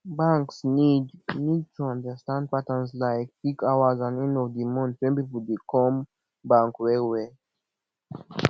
banks need need to understand patterns like peak hours and end of di month when pipo dey come bank well well